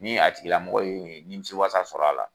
Ni a tigila mɔgɔ ye nimisi wasa sɔrɔ a la